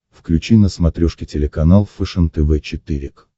включи на смотрешке телеканал фэшен тв четыре к